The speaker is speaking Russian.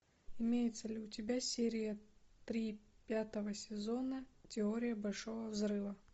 имеется ли у тебя серия три пятого сезона теория большого взрыва